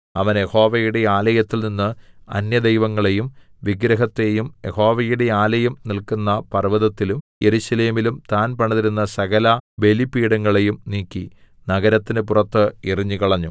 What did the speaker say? അവൻ യഹോവയുടെ ആലയത്തിൽനിന്ന് അന്യദൈവങ്ങളെയും വിഗ്രഹത്തെയും യഹോവയുടെ ആലയം നില്ക്കുന്ന പർവ്വതത്തിലും യെരൂശലേമിലും താൻ പണിതിരുന്ന സകലബലിപീഠങ്ങളേയും നീക്കി നഗരത്തിന് പുറത്ത് എറിഞ്ഞുകളഞ്ഞു